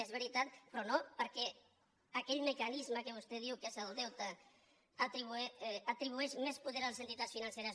és veritat però no perquè aquell mecanisme que vostè diu que és el deute atribueix més poder a les entitats financeres